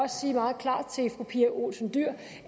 sige meget klart til fru pia olsen dyhr